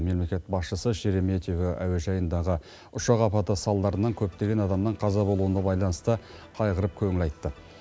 мемлекет басшысы шереметьево әуежайындағы ұшақ апаты салдарынан көптеген адамның қаза болуына байланысты қайғырып көңіл айтты